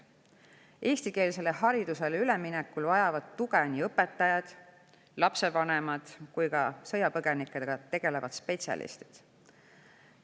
Eestikeelsele haridusele üleminekul vajavad tuge nii õpetajad, lapsevanemad kui ka sõjapõgenikega tegelevad spetsialistid.